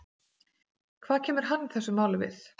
Hvað kemur hann þessu máli við?